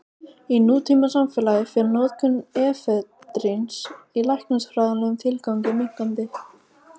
Í nútímasamfélagi fer notkun efedríns í læknisfræðilegum tilgangi minnkandi.